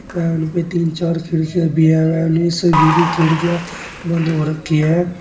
Ground पे तीन चार खिड़कियां भी है खिड़कियां बंद हो रखी है।